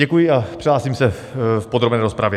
Děkuji a přihlásím se v podrobné rozpravě.